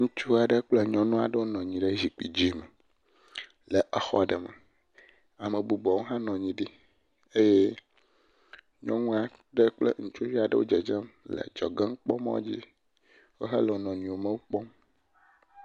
Ŋutsu aɖe kple nyɔnu aɖewo nɔ anyi ɖe zikpui aɖe dzi, ame bubuwo ha nɔ anyi ɖi eye nyɔnua ɖe kple ŋutsuvi aɖewo wo dzedzem le nukpɔmɔdzi wohã wole wo nɔnɔewo mo kpɔm.